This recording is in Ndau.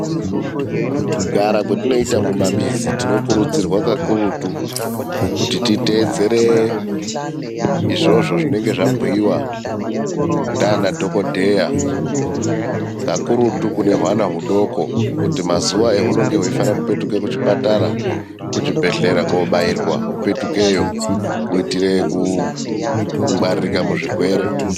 Kugara kwatinoita mumamizi, tinokurudzirwa kakurutu kuti titeedzere izvozvo zvinenge zvabhuyiwa nana dhokoteya. Kakurutu kune hwana hudoko kuti mazuva ahunenge huchifanira kupetuke kuchipatara, kuzvibhedhleya kunobairwa hupetukeyo kuitire kungwarirwa muzvirwere.